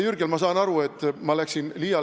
Jürgen, ma saan aru, et ma läksin liiale.